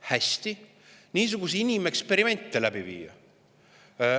Hästi, niisuguseid inimeksperimente viite läbi.